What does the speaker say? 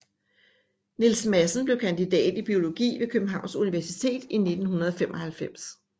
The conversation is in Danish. Niels Madsen blev kandidat i biologi ved Københavns Universitet i 1995